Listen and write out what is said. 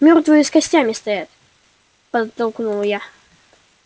мёртвые с костями стоят подтолкнул я